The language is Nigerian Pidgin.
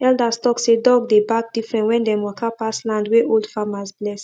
elders talk say dog dey bark different when dem waka pass land wey old farmers bless